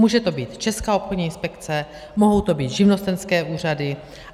Může to být Česká obchodní inspekce, mohou to být živnostenské úřady.